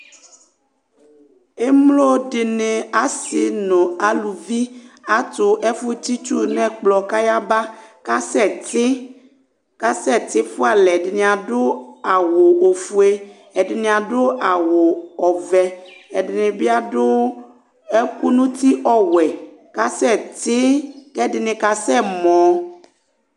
emlodini asi nu aluvi atu efu tsitsu nu ekplɔ kayaba kasɛti kasɛti fualɛ ɛdini adu awu ofue ɛdini adu awu ɔvɛ ɛdini bi adu ɛku nu ti ɔwuɛ kasetiii ku ɛdini kasɛmɔ